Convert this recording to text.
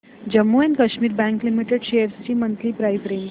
Jammu and Kashmir bank limited shares ची monthly price range